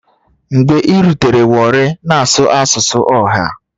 Mgbe irutere warri na-asụ asụsụ ọha.